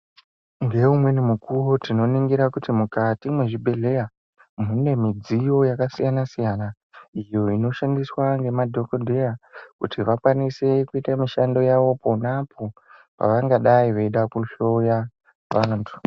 Ngeumweni mukuwo tinoningira kuti mukati mwezvibhedheya ,mune midziyo yakasiyana-siyana, iyo inoshandiswa ngemadhokodheya kuti vakwanise kuite mishando yavo, pona apo vangadai veida kuhloya vantu.